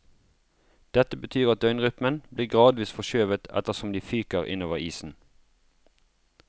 Dette betyr at døgnrytmen blir gradvis forskjøvet etter som de fyker innover isen.